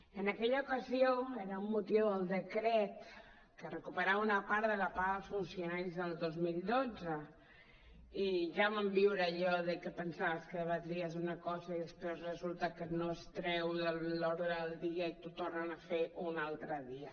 en aquella ocasió era amb motiu del decret que recuperava una part de la paga als funcionaris del dos mil dotze i ja vam viure allò de que pensaves que debatries una cosa i després resulta que no es treu de l’ordre del dia i t’ho tornen a fer un altre dia